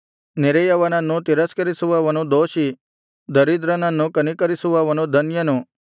ನೆರೆಯವನನ್ನು ತಿರಸ್ಕರಿಸುವವನು ದೋಷಿ ದರಿದ್ರನನ್ನು ಕನಿಕರಿಸುವವನು ಧನ್ಯನು